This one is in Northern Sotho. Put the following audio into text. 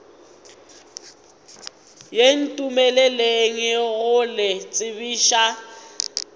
ye ntumeleleng go le tsebiša